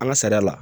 An ka sariya la